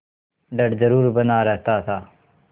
डर जरुर बना रहता था